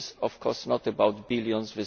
This is, of course, not about billions